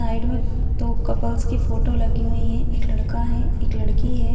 Side में दो couples की फोटो लगी हुई है एक लड़का है एक लड़की हैं।